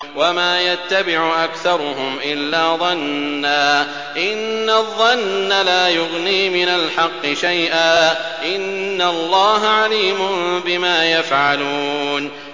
وَمَا يَتَّبِعُ أَكْثَرُهُمْ إِلَّا ظَنًّا ۚ إِنَّ الظَّنَّ لَا يُغْنِي مِنَ الْحَقِّ شَيْئًا ۚ إِنَّ اللَّهَ عَلِيمٌ بِمَا يَفْعَلُونَ